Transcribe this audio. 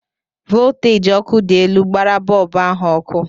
Volteji ọkụ dị elu gbara bọlbụ ahụ ọkụ.